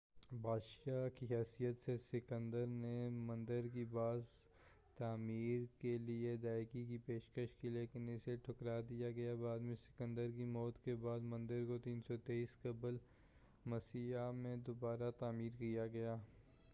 بادشاہ کی حیثیت سے سکندر نے مندر کی باز تعمیر کے لئے ادائیگی کی پیشکش کی لیکن اسے ٹھکرا دیا گیا بعد میں سکندر کی موت کے بعد مندر کو 323 قبلِ مسیح میں دوبارہ تعمیر کیا گیا